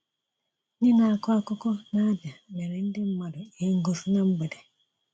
Ndị na-akọ akụkọ na Abia mere ndị mmadụ ihe ngosi na mgbede.